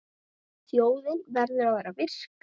Þjóðin verður að vera virk.